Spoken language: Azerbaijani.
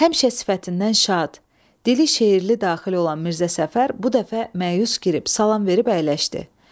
Həmişə sifətindən şad, deyli-şeirli daxil olan Mirzə Səfər bu dəfə məyus girib salam verib əyləşdi.